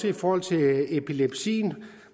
i forhold til epilepsien